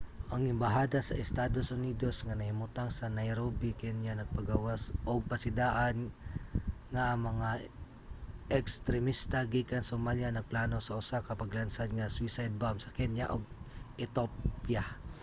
ang embahada sa estados unidos nga nahimutang sa nairobi kenya nagpagawas ug pasidaan nga ang mga ekstremista gikan somalia nagplano sa usa ka paglansad nga suicide bomb sa kenya ug ethiopia